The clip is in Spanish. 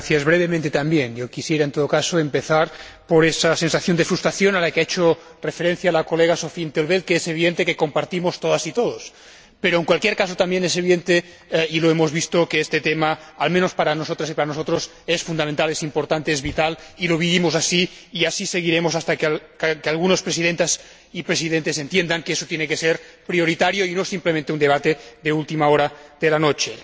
Señor Presidente, quisiera empezar por esa sensación de frustración a la que ha hecho referencia la colega in 't Veld, que es evidente que compartimos todas y todos, pero, en cualquier caso, también es evidente, y lo hemos visto, que este tema, al menos para nosotras y para nosotros, es fundamental, importante, vital y lo vivimos así y así seguiremos hasta que algunas presidentas y algunos presidentes entiendan que eso tiene que ser prioritario y no simplemente un debate de última hora de la noche.